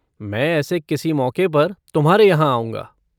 मैं ऐसे किसी मौके पर तुम्हारे यहाँ आऊंगा।